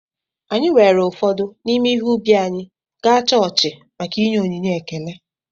Anyị weere ụfọdụ n’ime ihe ubi anyị gaa chọọchị maka ịnye onyinye ekele